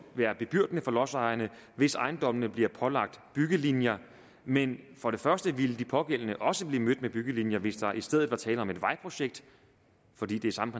være bebyrdende for lodsejerne hvis ejendommene bliver pålagt byggelinjer men for det første ville de pågældende også blive mødt med byggelinjer hvis der i stedet var tale om et vejprojekt fordi det er samme